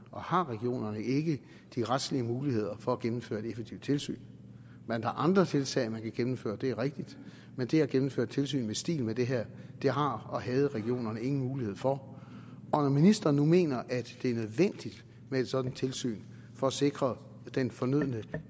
og har regionerne ikke de retslige muligheder for at gennemføre et effektivt tilsyn man har andre tiltag man kan gennemføre det er rigtigt men det at gennemføre et tilsyn i stil med det her har og havde regionerne ingen mulighed for og når ministeren nu mener at det er nødvendigt med et sådant tilsyn for at sikre den fornødne